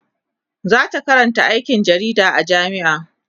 zata Karanta aikin jarida a jamia